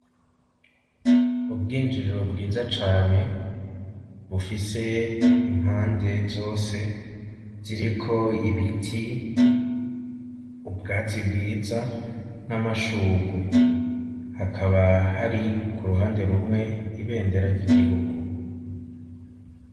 Ubwinjiriro bwiza cane bufise impande zose ziriko ibiti ubwatsi bwiza n'amashurwe hakaba hari ku ruhande rumwe ibendera ry'igihugu.